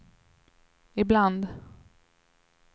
ibland